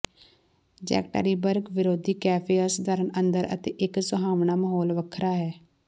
Yekaterinburg ਵਿਰੋਧੀ cafe ਅਸਧਾਰਨ ਅੰਦਰ ਅਤੇ ਇੱਕ ਸੁਹਾਵਣਾ ਮਾਹੌਲ ਵੱਖਰਾ ਹੈ